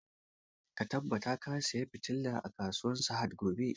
Ka tabbata ka saya fitilan a kasuwan sahad gobe!